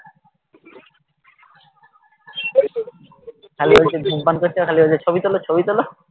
খালি বলছে ধূমপান করছে আর খালি ওদের ছবি তোলো ছবি তোলো